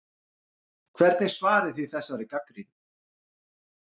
Hvernig svarið þið þessari gagnrýni?